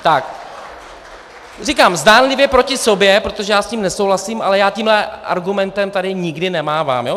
Říkám, zdánlivě proti sobě, protože já s tím nesouhlasím, ale já tímhle argumentem tady nikdy nemávám.